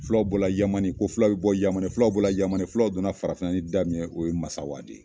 Filaw bola yamani ko fulaw be bɔ yamani filaw bolo yamani fulaw donna farafina ni da min ye o ye masawa de ye